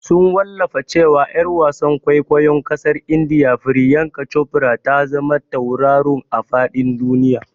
Sun Wallafa cewa Yar wasan kwaikwayon kasar India Priyanka Chopra ta zama tauraruwa a fadin duniya.